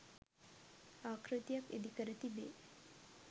ආකෘතියක් ඉදිකර තිබේ.